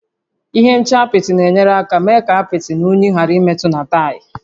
Ihe nche apịtị na-enyere aka mee ka apịtị na unyi ghàrà ịmetụta na taya